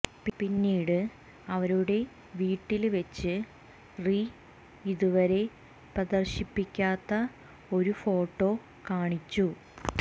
പിന്നീട് അവരുടെ വീട്ടില് വെച്ച് റി ഇതുവരെ പ്രദര്ശിപ്പിക്കാത്ത ഒരു ഫോട്ടോ കാണിച്ചു